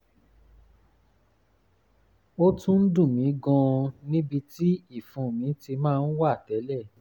ó tún ń dùn mí gan-an níbi tí ìfun mi ti máa ń wà tẹ́lẹ̀